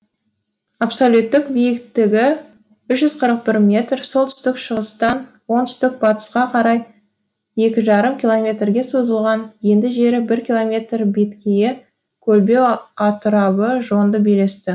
абсолюттік биіктігі үш жүз қырық бір метр солтүстік шығыстан оңтүстік батысқа қарай екі жарым километрге созылған енді жері бір километр беткейі көлбеу атырабы жонды белесті